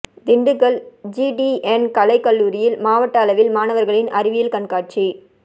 Dindigul GTN கலை கல்லூரியில் மாவட்ட அளவில் மாணவர்களின் அறிவியல் கண்காட்சி